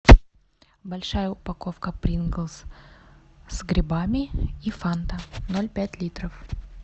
большая упаковка принглс с грибами и фанта ноль пять литров